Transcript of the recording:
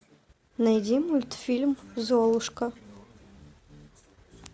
найди мультфильм золушка